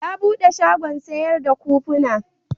Ya bude shagon sayar da kufuna.